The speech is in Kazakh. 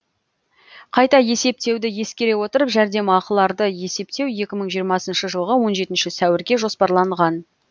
қайта есептеуді ескере отырып жәрдемақыларды есептеу екі мың жиырмасыншы жылғы он жетінші сәуірге жоспарланған